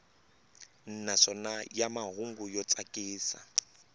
naswona ya mahungu yo tsakisa